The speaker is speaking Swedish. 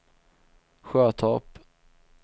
Sjötorp